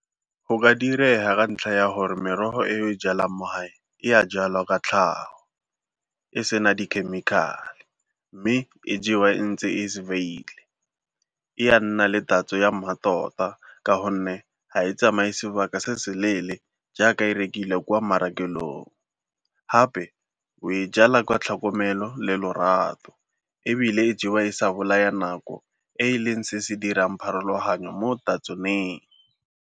Go ka direga ka ntlha ya gore merogo e jalang mo gae e a jalwa ka tlhago e sena di-chemical-e mme e jewa e ntse e , e a nna le tatso ya mmatota ka gonne ha e tsamaye sebaka se se leele jaaka e rekilwe kwa marekelong. Gape o e jalwa kwa tlhokomelo le lorato ebile e jewa e sa bolaya nako e e leng se se dirang pharologanyo mo tatsoneng.